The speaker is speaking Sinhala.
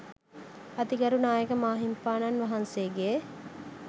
අතිගරු නායක මාහිමිපාණන් වහන්සේගේ